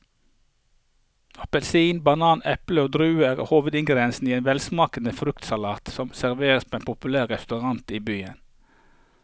Appelsin, banan, eple og druer er hovedingredienser i en velsmakende fruktsalat som serveres på en populær restaurant i byen.